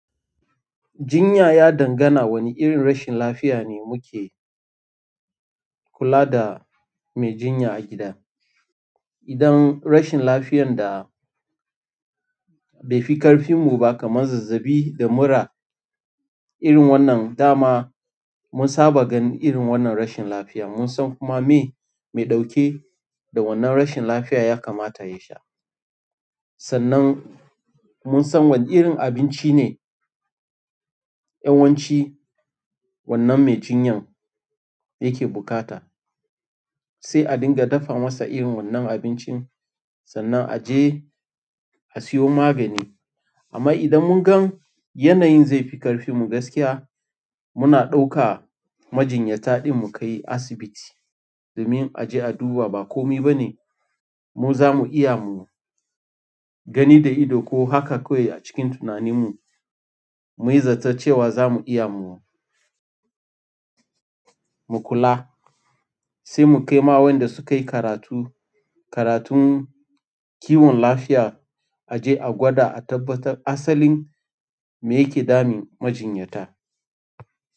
Jinya ya dangana wane irin rashin lafiya ne muke kula da mai jinya a gida. Idan rashin lafiyan da bai fi ƙarfinmu ba kamar zazzaɓi da mura irin wannan dama mun saba gan irin wannan rashin lafiya. Mun san kuma me mai ɗauke da wannan rashin lafiya ya kamata ya sha. Sannan mun san wane irin abinci ne yawanci wannan mai jinyan yake buƙata. Sai a dinga dafa masa irin wannan abincin sanan a je a siyo magani amma idan mun gan yanayin zai fi ƙarfinmu gaskiya, muna ɗauka majinyata ɗin mu kai asibiti. Domin a je a duba ba komi ba ne mu zamu iya mu gani da ido ko haka kawai a cikin tunanin mu muyi zato cewa za mu iya mu mu kula. Sai mu kai ma wanda sukayi karatu karatun kiwon lafiya a je a gwada a tabbatar asalin me yake damun majinyata.